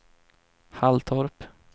Halltorp